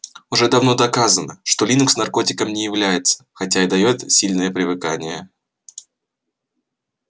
уже давно доказано что линукс наркотиком не является хотя и даёт сильное привыкание